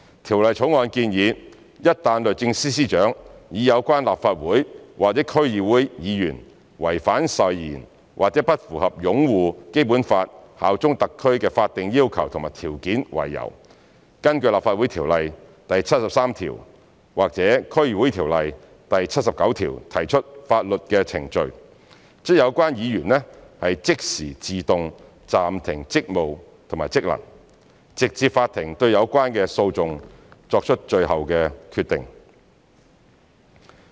《條例草案》建議，一旦律政司司長以有關立法會或區議會議員違反誓言或不符合"擁護《基本法》、效忠香港特區"的法定要求和條件為由，根據《立法會條例》第73條或《區議會條例》第79條提出法律程序，則有關議員即時自動暫停職務和職能，直至法庭對有關的訴訟作出最後決定。